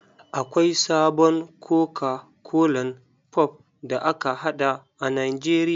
Akwai sabon koka kolan pop da aka haɗa a nijeria.